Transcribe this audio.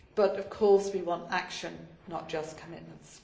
But of course we want action, not just commitments.